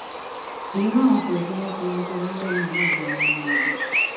èyí làwọn fi rò pé wọn ti yanjú aáwọ náà láàrin ara wọn nìyẹn